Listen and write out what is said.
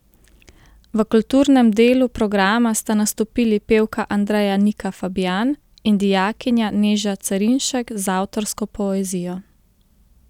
V kulturnem delu programa sta nastopili pevka Andreja Nika Fabijan in dijakinja Neža Cerinšek z avtorsko poezijo.